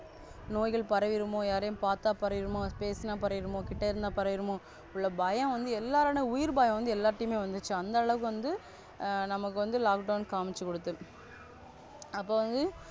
நோய்கள் பரவிடுமோ யாரையும் பத்தா பரவிடுமா பேசுனா பரவிடுமோ கிட்ட இருந்த பரவிடுமோ இவ்ளோ பயம் வந்து எல்லாரிடமும் எல்லாரிட உயிர் பயம் வந்து எல்லாத்தையுமே வந்துச்சு அந்த அளவுக்கு வந்து நமக்கு வந்து Lockdown கம்சிக்குடுத்துருச்சி.